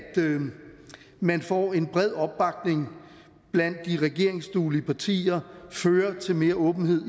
man får en bred opbakning blandt de regeringsduelige partier fører til mere åbenhed